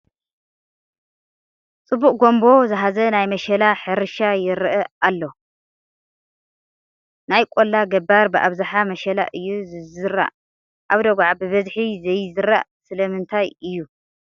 ፅቡቕ ጉምቦ ዝሃዘ ናይ መሸላ ሕርሻ ይርአ ኣሎ፡፡ ናይ ቆላ ገባር ብኣብዝሓ መሸላ እዩ ዝዘርእ፡፡ ኣብ ደጉዓ ብበዝሒ ዘይዝራእ ስለምንታይ እዩ?